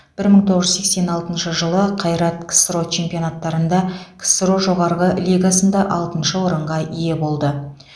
бір мың тоғыз жүз сексен алтыншы жылы қайрат ксро чемпионаттарында ксро жоғарғы лигасында алтыншы орынға ие болды